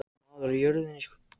Sænskir saksóknarar undir smásjá